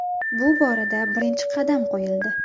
Bu borada birinchi qadam qo‘yildi.